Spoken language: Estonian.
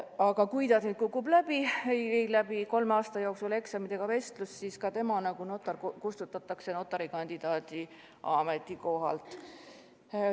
Aga kui ta kukub läbi, ei läbi kolme aasta jooksul eksamit ega vestlust, siis ta kustutatakse notari kandidaadi ametikohalt.